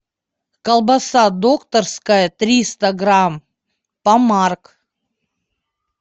колбаса докторская триста грамм помарк